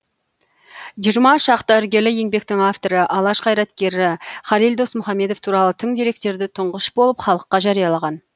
жиырма шақты іргелі еңбектің авторы алаш қайраткері халел досмұхамедов туралы тың деректерді тұңғыш болып халыққа жариялаған